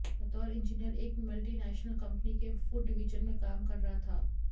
बतौर इंजिनियर एक multinational company के फूड डिवीजन में काम कर रहा था